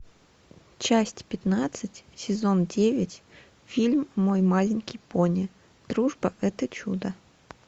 часть пятнадцать сезон девять фильм мой маленький пони дружба это чудо